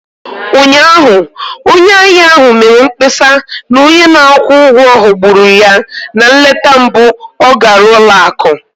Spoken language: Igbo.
Ụnyaahụ, onye ahịa ahụ mere mkpesa na onye na-akwụ ụgwọ ghọgburu ya na nleta mbụ ọ gara ụlọ akụ